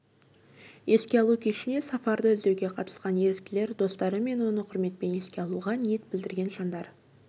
еске алу кешіне сафарды іздеуге қатысқан еріктілер достары мен оны құрметпен еске алуға ниет білдірген жандар